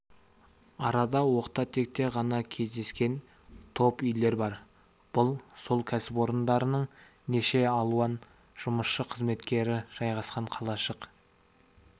арада оқта-текте ғана кездескен топ үйлер бар бұл сол кәсіпорындарының неше алуан жұмысшы қызметкері жайғасқан қалашық